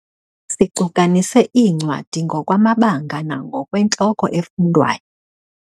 Sicukanise iincwadi ngokwamabanga nangokwentloko efundwayo.